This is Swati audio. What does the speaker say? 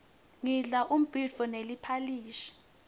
ngidla umbhidvo neliphalishi